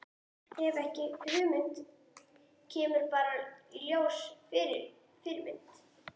Hef ekki hugmynd, kemur bara í ljós Fyrirmynd?